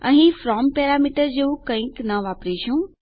અહીં આપણે from parameter જેવું કંઈક ન વાપરીશું